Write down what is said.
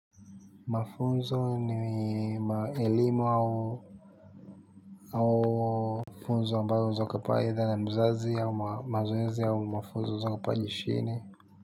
Mafunzo ni elimu au funzo ambayo unaweza ukapewa aidha na mzazi ama mazoezi au mafunzo za.